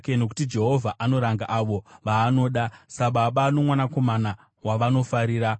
nokuti Jehovha anoranga avo vaanoda, sababa nomwanakomana wavanofarira.